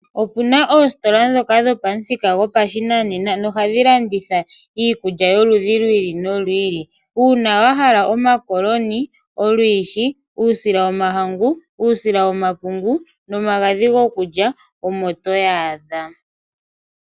Opuna oositola ndhoka dhopamuthika gopashinanena nohadhi landitha iikulya yomaludhi gi ili nogi ili. Uuna wahala omakoloni, olwiishi , uusila womahangu, uusila wepungu nomagadhi gokulya omo toyi adha.